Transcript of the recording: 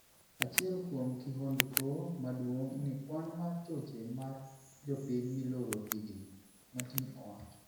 Achiel kuom kihondko maduong' ni kwan mar choche mar jopiny miloro hign, Martin owacho.